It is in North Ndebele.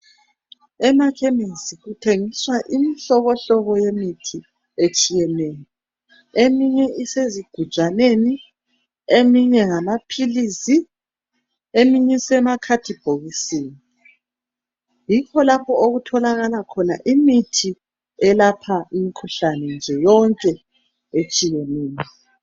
Amachemistry kuthengiswa imihlobohlobo yemithi etshiyeneyo eminye isezigujaneni, eminye ngamaphilisi, eminye isemakhadibhokisini yikho lapho okutholakala khona imithi eyelapha imikhuhlane nje yonke etshiyeneyo.